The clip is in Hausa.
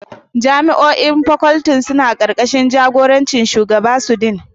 Jami'o'i facultin suna karkashin jagorancin shugabansu Dean